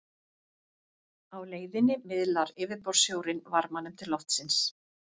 Á leiðinni miðlar yfirborðssjórinn varmanum til loftsins.